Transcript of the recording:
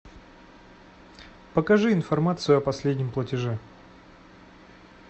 покажи информацию о последнем платеже